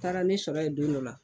Taara ne sɔrɔ yen don dɔ la